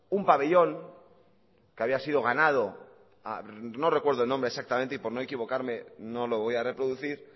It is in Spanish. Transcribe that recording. un pabellón que había sido ganado a no recuerdo el nombre exactamente y por no equivocarme no lo voy a reproducir